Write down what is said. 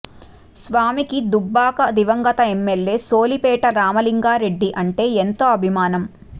స్వామికి దుబ్బాక దివంగత ఎమ్మెల్యే సోలిపేట రామలింగారెడ్డి అంటే ఎంతో అభిమానం